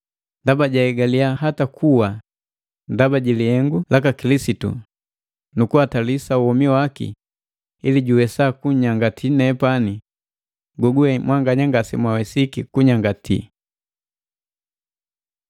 ndaba jaegaliya hata kuwa ndaba jilihengu laka Kilisitu, nukuhatalisa womi waki ili juwesa kunyangati nepani goguwe mwanganya ngasemwawesiki kunyangati.